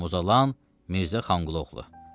Muzalan Mirza Xanhulouğlu.